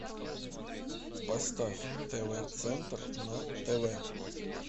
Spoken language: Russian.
поставь тв центр на тв